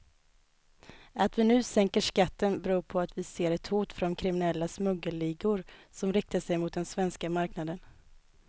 Att vi nu sänker skatten beror på att vi ser ett hot från kriminella smuggelligor som riktar sig mot den svenska marknaden.